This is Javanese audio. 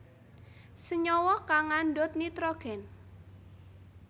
Senyawa kang ngandhut nitrogen